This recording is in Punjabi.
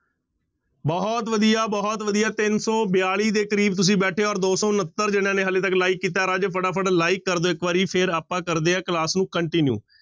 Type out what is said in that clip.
ਬਹੁਤ ਵਧੀਆ, ਬਹੁਤ ਵਧੀਆ, ਤਿੰਨ ਸੌ ਬਿਆਲੀ ਦੇ ਕਰੀਬ ਤੁਸੀਂ ਬੈਠੇ ਹੋ ਔਰ ਦੋ ਸੌ ਉਣੱਤਰ ਜਿਹਨਾਂ ਨੇ ਹਾਲੇ ਤੱਕ like ਕੀਤਾ ਹੈ ਰਾਜੇ ਫਟਾਫਟ like ਕਰ ਦਿਓ ਇੱਕ ਵਾਰੀ ਫਿਰ ਆਪਾਂ ਕਰਦੇ ਹਾਂ class ਨੂੰ continue